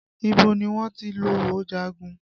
Ibo ni wọ́n ti lọ jagun?